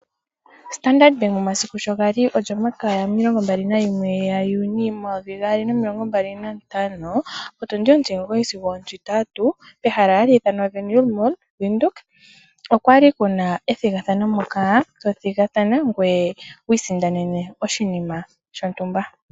Standard Bank omasiku sho gali olyomakaya yomilongo mbali nayimwe yaJuni, omayovi gaali nomilongo mbali nantano, otundi otimugoyi sigo ontintatu, pehala hali ithanwa Wernil Mall, Windhoek, okwa li kuna ethigathano moka to thigathana ngoye wi isindanene oshinima shontumba.